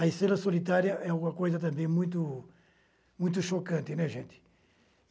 A Estrela Solitária é uma coisa também muito chocante, né, gente?